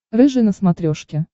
рыжий на смотрешке